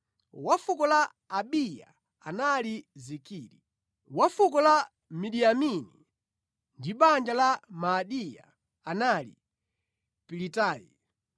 wa fuko la Abiya anali Zikiri; wa fuko la Miniyamini ndi banja la Maadiya anali Pilitayi;